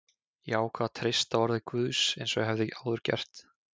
Ég ákvað að treysta orði Guðs eins og ég hafði áður gert.